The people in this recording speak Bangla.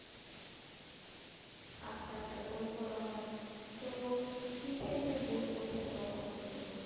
আচ্ছা আচ্ছা বই পড়া হয়। তো কি, কি type এর বই পড়তে তোমার পছন্দ?